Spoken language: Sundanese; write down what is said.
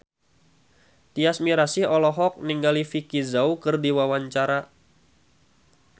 Tyas Mirasih olohok ningali Vicki Zao keur diwawancara